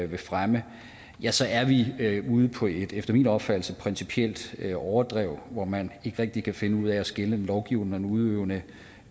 vil fremme ja så er vi ude på et efter min opfattelse principielt overdrev hvor man ikke rigtig kan finde ud af at skille den lovgivende og den udøvende